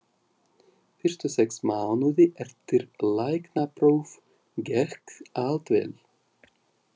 Fyrstu sex mánuði eftir læknapróf gekk allt vel.